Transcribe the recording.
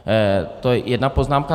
To je jedna poznámka.